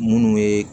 Munnu ye